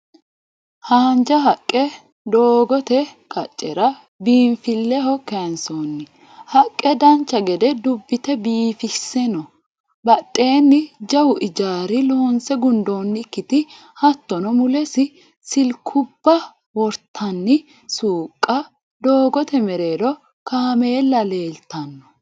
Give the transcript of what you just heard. Haanja haqqe doogote qaccera biinffilleho kayinsoonni. Haqqe dancha gede dubbite biifisse no. Badheenni jawu ijaari loonse gundoonnikkiti hattono mulesi silkubba wortanni suuqqa doogote mereero kaameella leeltanno.